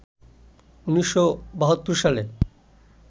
১৯৭২ সালে